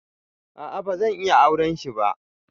A'a bazan iya auren shi ba.